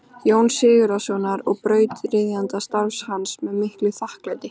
Jóns Sigurðssonar og brautryðjanda starfs hans með miklu þakklæti.